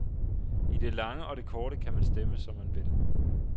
I det lange og det korte kan man stemme, som man vil.